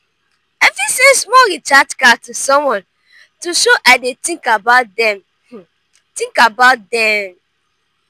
i fit send small recharge card to someone to show i dey think about dem. think about dem.